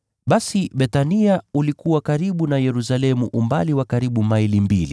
Basi Bethania ulikuwa karibu na Yerusalemu umbali wa karibu maili mbili,